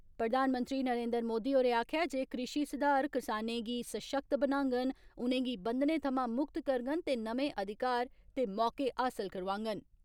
प्रधानमंत्री नरेन्द्र मोदी होरें आक्खेया जे कृषि सुधार किसानें गी सशक्त बनागंन, उनेंगी बंधने थमां मुक्त करगंन ते नमें अधिकार ते मौके हासल करोआगंन।